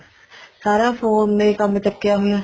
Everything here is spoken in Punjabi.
ਸਾਰਾ phone ਨੇ ਹੀ ਕੰਮ ਚੱਕਿਆ ਹੋਇਆ